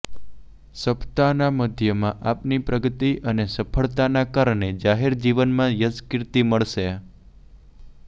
સપ્તાહના મધ્યમાં આપની પ્રગતિ અને સફળતાના કારણે જાહેરજીવનમાં યશકીર્તિ મળશે